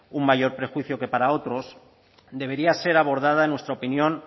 un mayor perjuicio que para otros debería ser abordada en nuestra opinión